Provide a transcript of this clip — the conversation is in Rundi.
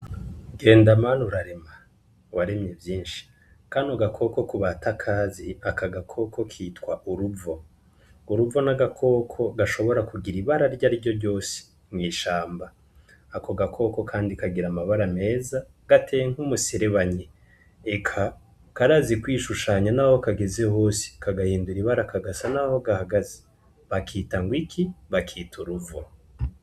Ikawa ni igitegwa kiterwa cane, kandi kimvurwa mu burundi kirafitiye akamaro abanyagihugu kiragafitiye igihugu, kubera ko kiradandazwa kiranyobwa, kandi igisohoka cane igihugu kurusha ibindi.